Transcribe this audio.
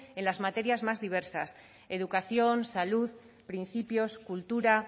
en las materias más diversas educación salud principios cultura